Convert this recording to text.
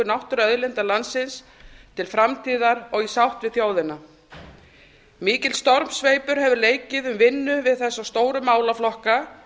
náttúruauðlinda landsins til framtíðar og í sátt við þjóðina mikill stormsveipur hefur leikið um vinnu við þessa stóru málaflokka